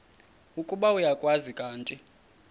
ukuba uyakwazi kanti